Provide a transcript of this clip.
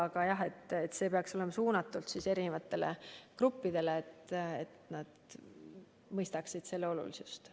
Aga jah, et see töö peaks olema suunatud erinevatele gruppidele, et inimesed mõistaksid vaktsineerimise olulisust.